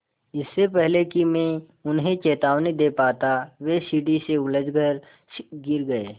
इससे पहले कि मैं उन्हें चेतावनी दे पाता वे सीढ़ी से उलझकर गिर गए